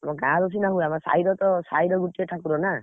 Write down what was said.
ଆମ ଗାଁର ସିନା ହୁଏ, ଆମ ସାହିରତ, ସାହିରେ ଗୋଟିଏ ଠାକୁର ନା,